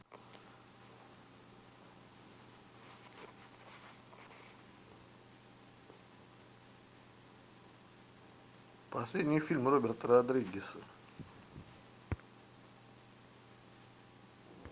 последний фильм роберта родригеса